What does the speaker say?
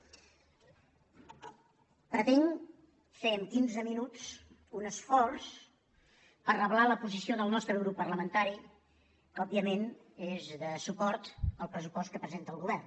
pretenc fer amb quinze minuts un esforç per reblar la posició del nostre grup parlamentari que òbviament és de suport al pressupost que presenta el govern